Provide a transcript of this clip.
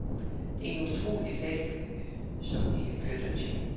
Det er en utrolig fattig by, som vi flytter til.